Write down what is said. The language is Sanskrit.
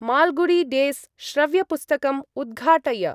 माल्गुडी डेस् श्रव्यपुस्तकम् उद्घाटय।